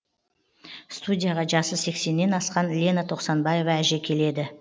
студияға жасы сексеннен асқан лена тоқсанбаева әже келеді